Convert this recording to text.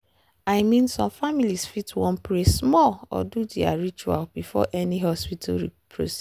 i mean some families fit wan pray small or do their ritual before any hospital procedure.